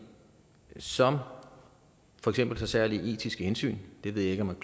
som for eksempel tager særlige etiske hensyn det ved jeg